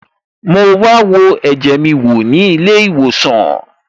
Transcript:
Mo wa wo ẹ̀jẹ̀ mi wò ní ilé ìwòsàn